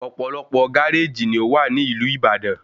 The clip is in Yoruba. Ọ̀pọ̀lọpọ̀ gáréjì ni ówà ní ìlú Ìbàdàn